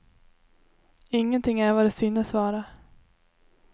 Ingenting är vad det synes vara.